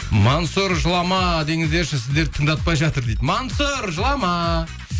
мансұр жылама деңізерші сіздерді тыңдатпай жатыр дейді мансұр жылама